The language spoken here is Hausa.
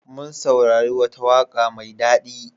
Mun saurari wata waƙa mai daɗi.